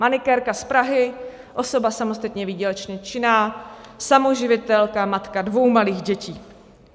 Manikérka z Prahy, osoba samostatně výdělečně činná, samoživitelka, matka dvou malých dětí.